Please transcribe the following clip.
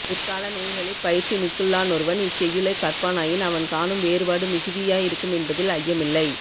பிற்கால நூல்களிற் பயிற்சி மிக்குள்ளானொருவன் இச்செய்யுளைக் கற்பானாயின் அவன் காணும் வேறுபாடு மிகுதியாயிருக்குமென்பதில் ஐயமில்லை